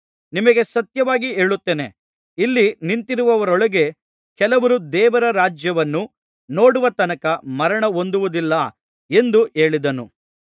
ನಿಮಗೆ ಸತ್ಯವಾಗಿ ಹೇಳುತ್ತೇನೆ ಇಲ್ಲಿ ನಿಂತಿರುವವರೊಳಗೆ ಕೆಲವರು ದೇವರ ರಾಜ್ಯವನ್ನು ನೋಡುವ ತನಕ ಮರಣಹೊಂದುವುದಿಲ್ಲ ಎಂದು ಹೇಳಿದನು